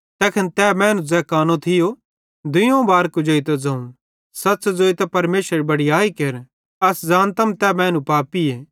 तैखन तैस मैनू ज़ै कानो थियो दुइयोवं बार कुजेइतां ज़ोवं सच़ ज़ोइतां परमेशरेरी बड़याई केर अस ज़ानतम तै मैनू पापीए